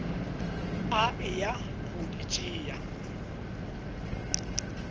a eya go di tšea